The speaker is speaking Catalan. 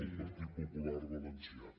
el partit popular valencià